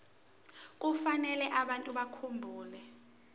kufanele abantu bakhumbule